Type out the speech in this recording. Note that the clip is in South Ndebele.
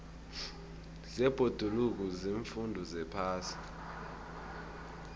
zebhoduluko ziimfundo zephasi